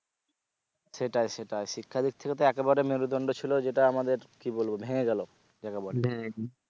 সেটাই সেটাই শিক্ষা দিক থেকে তো একেবারে মেরুদন্ড ছিলো যেটা আমাদের কি বলবো ভেঙে গেলো যাকে বলে